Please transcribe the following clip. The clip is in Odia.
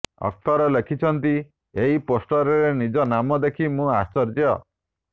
ଅଖତର ଲେଖିଛନ୍ତି ଏହି ପୋଷ୍ଟରରେ ନିଜ ନାମ ଦେଖି ମୁଁ ଆଶ୍ଚର୍ଯ୍ୟ